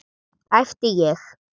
æpti ég.